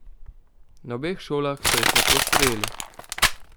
Na obeh šolah so jih lepo sprejeli.